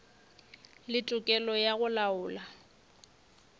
le tokelo ya go laola